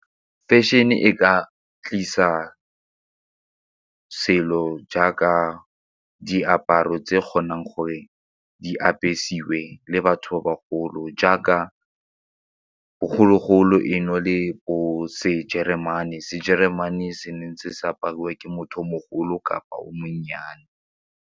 Fashion-e ka tlisa selo jaaka diaparo tse kgonang gore di apesiwe le batho ba bagolo jaaka bogologolo le gore sejeremane, sejeremane se ne se se apariwang ke motho yo mogolo kapa o monnyane.